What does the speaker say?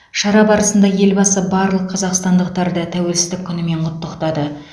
шара барысында елбасы барлық қазақстандықтарды тәуелсіздік күнімен құттықтады